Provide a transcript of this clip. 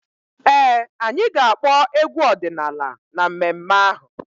Ee, anyị ga-akpọ egwu ọdịnaala na mmemme ahụ.